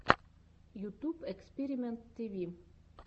ютуб экспиримэнт тиви